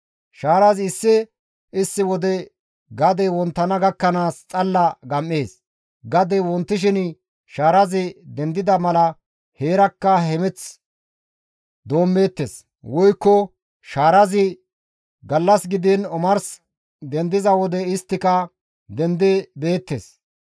Shaarazi issi issi wode gadey wonttana gakkanaas xalla gam7ees; gadey wontishin shaarazi dendida mala heerakka hemeth doommeettes; woykko shaarazi gallas gidiin omars dendiza wode isttika dendi beettes.